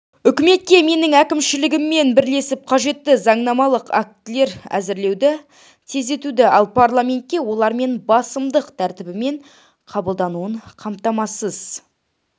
үкіметке менің әкімшілігіммен бірлесіп қажетті заңнамалық актілер әзірлеуді тездетуді ал парламентке олардың басымдық тәртібімен қабылдануын қамтамасыз